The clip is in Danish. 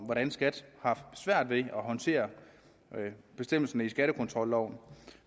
hvordan skat har haft svært ved at håndtere bestemmelserne i skattekontrolloven